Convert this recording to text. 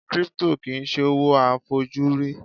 Crypto kìí ṣe owó a fojú rí